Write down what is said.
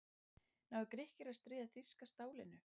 Ná Grikkir að stríða þýska stálinu?